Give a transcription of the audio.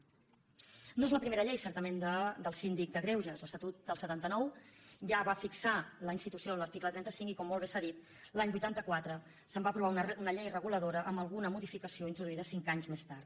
no és la primera llei certament del síndic de greuges l’estatut del setanta nou ja va fixar la institució en l’article trenta cinc i com molt bé s’ha dit l’any vuitanta quatre es va aprovar una llei reguladora amb alguna modificació introduïda cinc anys més tard